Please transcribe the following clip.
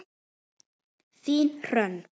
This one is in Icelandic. Þín, Hrönn.